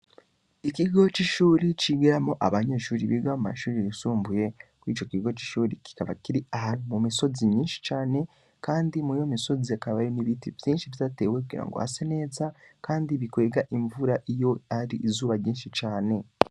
Ikigo c'ishure cigiramwo abanyeshure biga mumashure yisumbuye, mwico Kigo c'ishure Kiri mumisozi nyishi cane, kandi Mwiyo misozi hakaba barimwo ibiti vyishi cane vyatewe kugira hase neza ,Kandi bikwega mvura iyo n'Izuba ari ryishi cane.